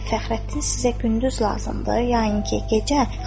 Fəxrəddin sizə gündüz lazımdır, yəni ki, gecə?